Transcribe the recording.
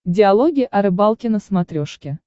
диалоги о рыбалке на смотрешке